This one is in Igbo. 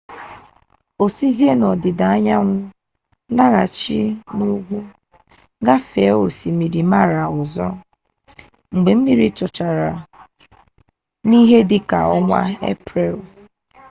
o sizie n'ọdịda anyanwụ laghachi n'ugwu gafee osimiri mara ọzọ mgbe mmiri zochara n'ihe dị ka ọnwa eprel